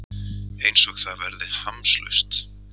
Einsog það verði hamslaust.